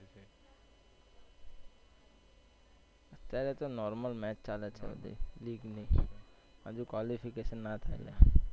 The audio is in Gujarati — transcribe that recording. અત્યારે તો normal match ચાલે છે આજે Legue ની હજુ qualification ના થાય લ્યા.